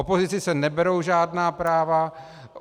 Opozici se neberou žádná práva.